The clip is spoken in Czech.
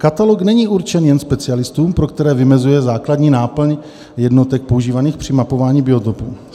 "Katalog není určen jen specialistům, pro které vymezuje základní náplň jednotek používaných při mapování biotopů.